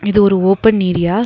இது ஒரு open area .